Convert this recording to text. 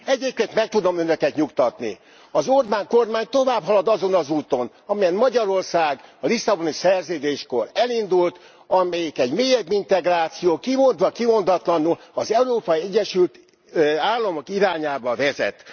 Egyébként meg tudom Önöket nyugtatni az Orbán kormány továbbhalad azon az úton, amelyen Magyarország a Lisszaboni Szerződéskor elindult, amelyik egy mélyebb integráció, kimondva, kimondatlanul az Európai Egyesült Államok irányába vezet.